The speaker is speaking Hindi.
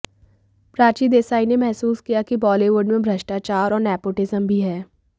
प्राची देसाई ने महसूस किया कि बॉलीवुड में भ्रष्टाचार और नेपोटिजम भी है